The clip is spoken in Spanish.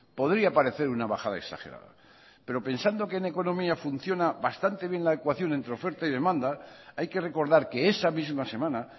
podría parecer una bajada exagerada pero pensando que en economía funciona bastante bien la ecuación entre oferta y demanda hay que recordar que esa misma semana